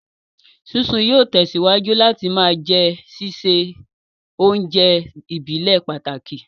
Sísun yóò tẹ̀síwájú láti ma jẹ́ sísè oúnjẹ ìbílẹ̀ pàtàkì